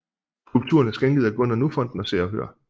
Skulpturen er skænket af Gunnar Nu Fonden og Se og Hør